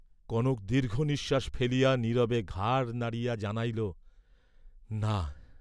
কনক দীর্ঘনিঃশ্বাস ফেলিয়া নীরবে ঘাড় নাড়িয়া জানাইল, না।